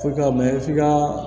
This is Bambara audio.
Fo ka mɛn f'i ka